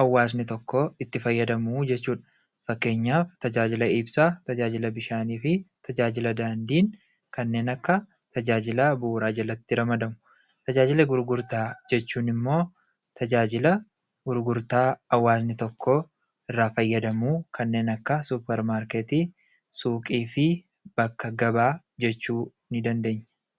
hawaasni tokko itti fayyadamu jechuudha. Fakkeenyaaf: tajaajila ibsaa, tajaajila bishaanii fi tajaajila daandii tajaajila bu'uuraa jalatti ramadamu. Tajaajila gurgurtaa jechuun immoo tajaajila gurgurtaa hawaasni tokko iraa fayyadamu kanneen akka: suparmaarkeetii, suuqii fi bakka gabaa jechuu ni dandeenya.